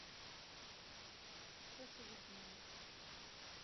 тоше веснине